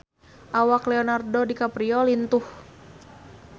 Awak Leonardo DiCaprio lintuh